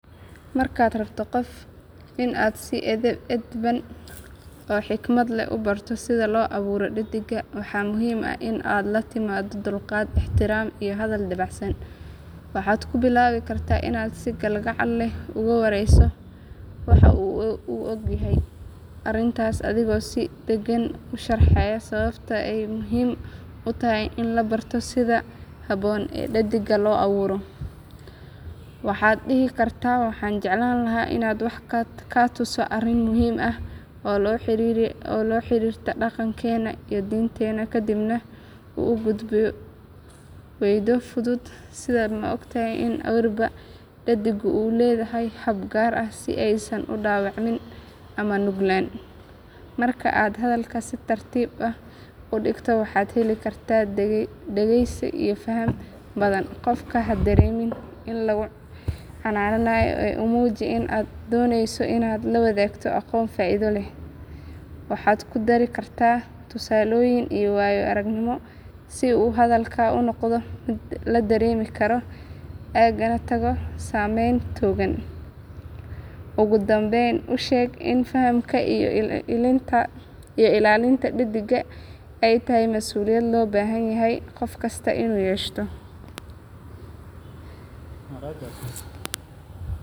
Markaad rabto in aad qof si edban oo xikmad leh u barato sida loo awro dhadigga waxaa muhiim ah in aad la timaaddo dulqaad, ixtiraam iyo hadal dabacsan. Waxaad ku bilaabi kartaa inaad si kalgacal leh uga warayso waxa uu ka ogyahay arrintaas adigoo si deggan u sharxaya sababta ay muhiim u tahay in la barto sida habboon ee dhadigga loo awro. Waxaad dhihi kartaa waxaan jeclaan lahaa inaan wax kaa tuso arrin muhiim ah oo la xiriirta dhaqankeena iyo diinteena kadibna u gudub weedho fudud sida ma ogtahay in awrida dhadiggu ay leedahay hab gaar ah si aysan u dhaawacmin ama u nuglaan? Marka aad hadalka si tartiib ah u dhigto waxaad heli kartaa dhegaysi iyo faham badan. Qofka ha dareemin in lagu canaanayo ee u muuji in aad doonayso inaad la wadaagto aqoon faa’iido u leh. Waxaad ku dari kartaa tusaalooyin iyo waayo aragnimo si uu hadalka u noqdo mid la dareemi karo ugana tago saamayn togan. Ugu dambayn u sheeg in fahamka iyo ilaalinta dhadigga ay tahay masuuliyad loo baahan yahay qofkasta inuu yeesho.